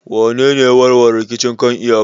Wanene ya warware rikicin kan iyakar?